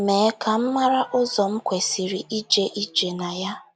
Mee ka m mara ụzọ m kwesịrị ije ije na ya. ”